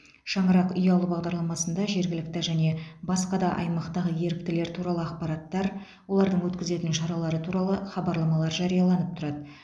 шаңырақ ұялы бағдарламасында жергілікті және басқа да аймақтағы еріктілер туралы ақпараттар олардың өткізетін шаралары туралы хабарламалар жарияланып тұрады